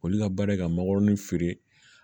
Olu ka baara ye ka magɔrɔni feere